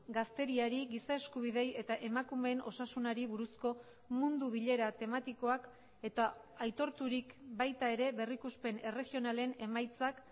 gazteriari giza eskubideei eta emakumeen osasunari buruzko mundu bilera tematikoak eta aitorturik baita ere berrikuspen erregionalen emaitzak